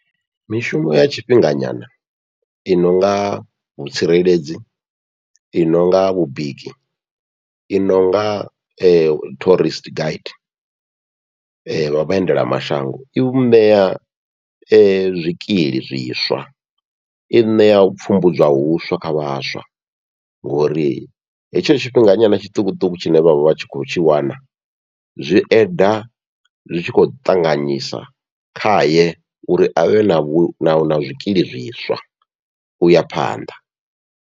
Mishumo ya tshifhinga nyana i nonga vhutsireledzi, i nonga vhubiki, i nonga tourist gaidi, vha vhaendela mashango i vhu ṋea zwikili zwiswa i ṋea u pfhumbudzwa huswa kha vhaswa, ngori hetsho tshifhinga nyana tshiṱukuṱuku tshine vhavha vhatshi kho tshi wana zwi eda zwi tshi khou ṱanganyisa khaye uri avhe na vhu na zwikili zwiswa uya phanḓa.